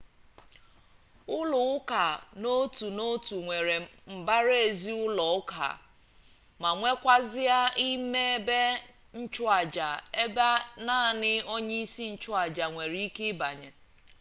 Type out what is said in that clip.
ulo-uka n'otu n'otu nwere mbara-ezi ulo-uka ma nwekazie ime ebe nchuaja ebe nani onye-isi nchu-aja nwere-ike ibanye